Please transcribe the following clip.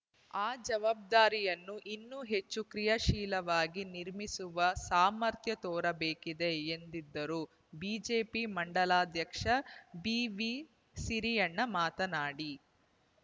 ಆ ಜವಾಬ್ದಾರಿಯನ್ನು ಇನ್ನೂ ಹೆಚ್ಚು ಕ್ರಿಯಾಶೀಲವಾಗಿ ನಿರ್ವಹಿಸುವ ಸಾಮರ್ಥ್ಯ ತೋರಬೇಕಿದೆ ಎಂದ್ದಿದರು ಬಿಜೆಪಿ ಮಂಡಲಾಧ್ಯಕ್ಷ ಬಿವಿಸಿರಿಯಣ್ಣ ಮಾತನಾಡಿ